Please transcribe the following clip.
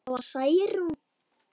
Það var Særún.